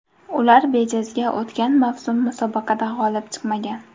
Ular bejizga o‘tgan mavsum musobaqada g‘olib chiqmagan.